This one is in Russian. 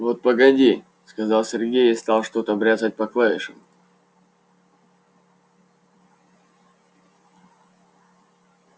вот погоди сказал сергей и стал что-то бряцать по клавишам